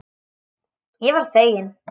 Ég varð fegin.